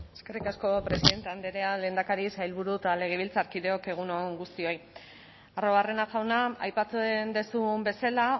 eskerrik asko presidente andrea lehendakari sailburu eta legebiltzarkideok egun on guztioi arruabarrena jauna aipatzen duzun bezala